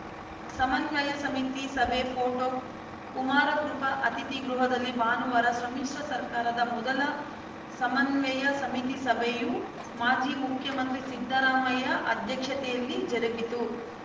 ಸಮನ್ವಯ ಸಮಿತಿ ಸಭೆ ಫೋಟೋ ಕುಮಾರಕೃಪಾ ಅತಿಥಿ ಗೃಹದಲ್ಲಿ ಭಾನುವಾರ ಸಮ್ಮಿಶ್ರ ಸರ್ಕಾರದ ಮೊದಲ ಸಮನ್ವಯ ಸಮಿತಿ ಸಭೆಯು ಮಾಜಿ ಮುಖ್ಯಮಂತ್ರಿ ಸಿದ್ದರಾಮಯ್ಯ ಅಧ್ಯಕ್ಷತೆಯಲ್ಲಿ ಜರುಗಿತು